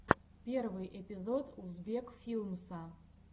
первый эпизод узбек филмса